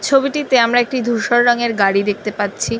ছবি টিতে আমরা একটি ধূসর রঙের গাড়ি দেখতে পাচ্ছি।